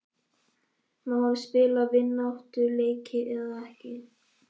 Má hann spila vináttuleiki eða ekki?